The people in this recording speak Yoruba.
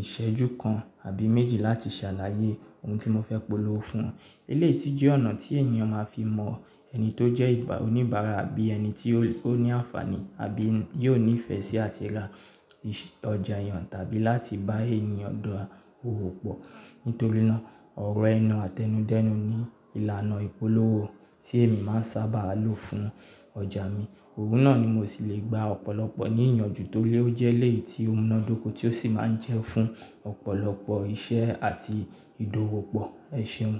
ìṣẹ́jú kan àbí méjì láti ṣàlàyé ohun tí mo fẹ́ polówó fún. Elééyí jẹ́ ọ̀nà tí ènìyàn ma fi mọ ẹni tó jẹ́ ìgbà oníbàárà àbí ẹni tí ó ní àǹfààní àbí yóò nífẹ̀ẹ́ sí àti ra ọjà ìyàn tàbí láti bá ènìyàn dọ̀ọ̀ òwò pọ̀. Nítorí náà, ọ̀rọ̀ ẹnu àtẹnudẹ́nu ni ìlànà ìpolówó tí èmi má ń sábà lò fún ọjà mi. Òwún náà ni mo sì lè gba ọ̀pọ̀lọpọ̀ ní ìyànjú torí ó jẹ́ léè tí ó múná dóko tí ó sì má ń jẹ́ fún ọ̀pọ̀lọpọ̀ iṣẹ́ àti ìdòwò pọ̀ ẹṣeun.